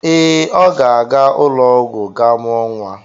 Ee, ọ ga-aga ụlọ ọgwụ gaa mụọ nwa.